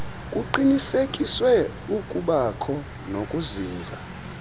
kuqinisekiswe ukubanakho nokuzinza